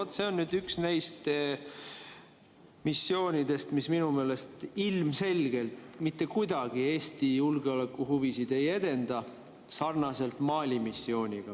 No vot, see on nüüd üks neist missioonidest, mis minu meelest ilmselgelt mitte kuidagi Eesti julgeolekuhuvisid ei edenda, sarnaselt Mali missiooniga.